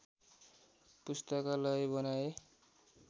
पुस्तकालय बनाए